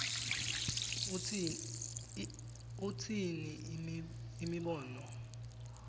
utsini imibono